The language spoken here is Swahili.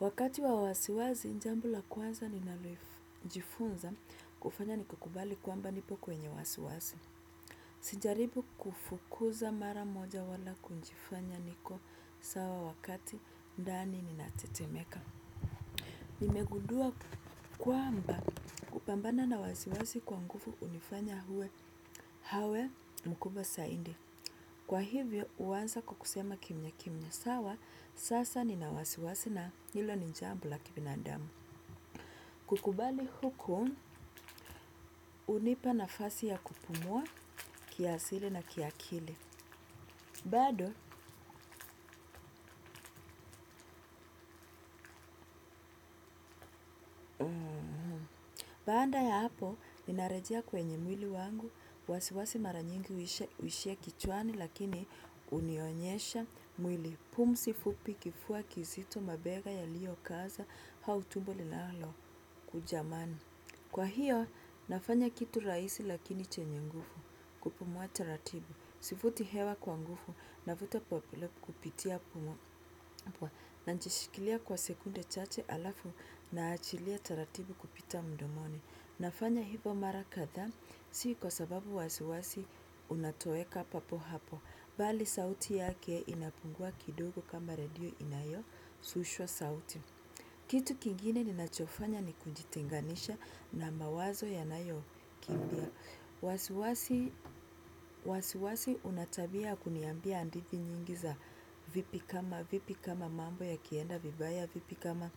Wakati wa wasiwasi, jambo la kwanza ninalojifunza kufanya ni kukubali kwamba nipo kwenye wasiwasi. Sijaribu kufukuza mara moja wala kujifanya niko sawa wakati, ndani ninatetemeka. Nimegundua kwamba kupambana na wasiwasi kwa nguvu hunifanya uwe awe mkubwa zaidi. Kwa hivyo, huanza kwa kusema kimyakimya, sawa sasa nina wasiwasi na hilo ni jambo la kibinadamu. Kukubali huku, hunipa nafasi ya kupumua kiasili na kiakili. Bado, baada ya hapo, ninarejea kwenye mwili wangu, wasiwasi mara nyingi huishia kichwani, lakini hunionyesha mwili pumzi fupi, kifua kizito, mabega yaliyokaza, au tumbo linalokujamana. Kwa hiyo, nafanya kitu rahisi lakini chenye nguvu, kupumua taratibu. Sivuti hewa kwa nguvu navuta kupitia pua najishikilia kwa sekunde chache alafu naachilia taratibu kupita mdomoni. Nafanya hivyo mara kadhaa si kwa sababu wasiwasi unatoweka papo hapo. Bali sauti yake inapungua kidogo kama redio inayosushwa sauti. Kitu kingine ninachofanya ni kujitenganisha na mawazo yanayokimbia. Wasiwasi wasiwasi una tabia ya kuniambia hadithi nyingi za vipi kama mambo yakienda vibaya, vipi kama